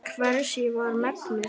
Hvers ég var megnug.